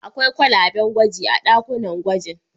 Akwai kwalaben gwaji a ɗakunan gwaji.